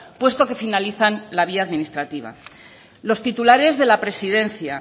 puesto que finalizan la vía administrativa los titulares de la presidencia